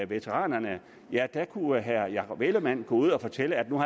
veteranerne ja da kunne herre jakob ellemann jensen gå ud og fortælle at nu